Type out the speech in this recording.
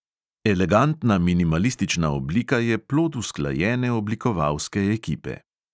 Elegantna minimalistična oblika je plod usklajene oblikovalske ekipe.